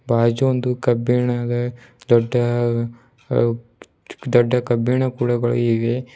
ಬಾಜು ಒಂದು ಕಬ್ಬಿಣಗ ದೊಡ್ಡ ಹ ದೊಡ್ಡ ಕಬ್ಬಿಣ ಕುಳ ಇವೆ.